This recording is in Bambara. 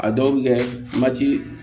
A dɔw bɛ kɛ